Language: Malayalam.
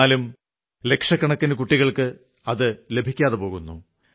എന്നാലും ലക്ഷക്കണക്കിനു കുട്ടികൾക്ക് അതു ലഭിക്കാതെ പോകുന്നു